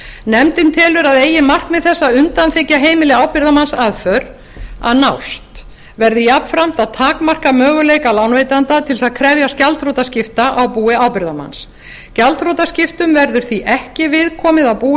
nefndin telur að eigi markmið þessi að undanþiggja heimili ábyrgðarmanns aðför að nást verði jafnframt að takmarka möguleika lánveitanda til þess að krefjast gjaldþrotaskipta á búi ábyrgðarmanns gjaldþrotaskiptum verður því ekki viðkomið á búi